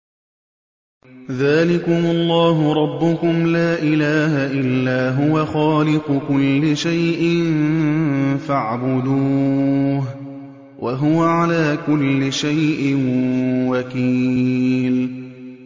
ذَٰلِكُمُ اللَّهُ رَبُّكُمْ ۖ لَا إِلَٰهَ إِلَّا هُوَ ۖ خَالِقُ كُلِّ شَيْءٍ فَاعْبُدُوهُ ۚ وَهُوَ عَلَىٰ كُلِّ شَيْءٍ وَكِيلٌ